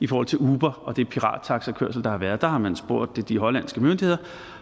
i forhold til uber og den pirattaxakørsel der har været der har man spurgt de hollandske myndigheder